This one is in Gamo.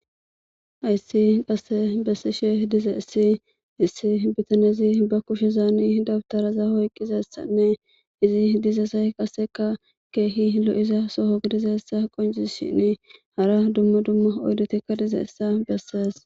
Hayssi qasse bessishe dize issi issi bitanezi ba kushe zaani dabtaraza oyqqizessanne izi diza say qaseka keehi lo7iza soho gidizessa qoncizi shini hara dumma dumma oydotikka dize essa besseas.